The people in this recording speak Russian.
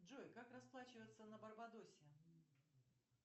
джой как расплачиваться на барбадосе